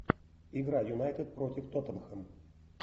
игра юнайтед против тоттенхэм